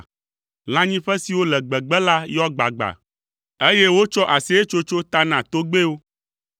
Lãnyiƒe siwo le gbegbe la yɔ gbagba, eye wotsɔ aseyetsotso ta na togbɛwo.